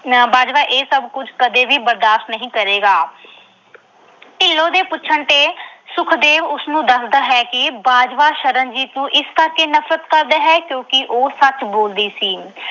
ਬਾਜਵਾ ਇਹ ਸਭ ਕੁਝ ਕਦੇ ਵੀ ਬਰਦਾਸ਼ਤ ਨਹੀਂ ਕਰੇਗਾ। ਢਿੱਲੋਂ ਦੇ ਪੁੱਛਣ ਤੇ ਸੁਖਦੇਵ ਉਸਨੂੰ ਦੱਸਦਾ ਹੈ ਕਿ ਬਾਜਵਾ ਸ਼ਰਨਜੀਤ ਨੂੰ ਇਸ ਕਰਕੇ ਨਫਰਤ ਕਰਦਾ ਹੈ ਕਿਉਂਕਿ ਉਹ ਸੱਚ ਬੋਲਦੀ ਸੀ।